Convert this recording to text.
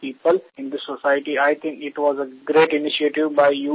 সমাজে শারীরিকভাবে অক্ষম ব্যক্তিদের সাহায্যের জন্য তাদের অনুপ্রাণিত করা হয়েছে